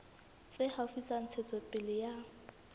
tse haufi tsa ntshetsopele ya